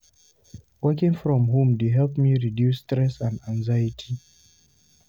Working from home dey help me reduce stress and anxiety.